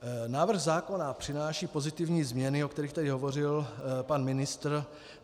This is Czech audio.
Návrh zákona přináší pozitivní změny, o kterých tady hovořil pan ministr.